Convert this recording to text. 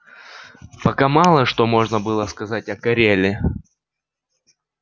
пока мало что можно было сказать о кореле